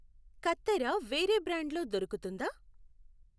కత్తెర వేరే బ్రాండ్ లో దొరుకుతుందా?